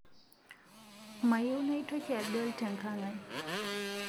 mayieu naitoki adol tenkang'ai